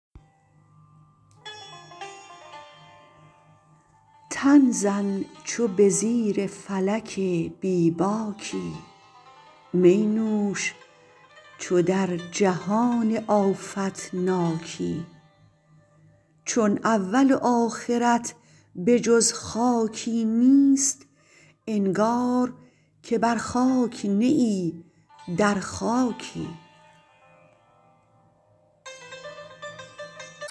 تن زن چو به زیر فلک بی باکی می نوش چو در جهان آفت ناکی چون اول و آخرت به جز خاکی نیست انگار که بر خاک نه ای در خاکی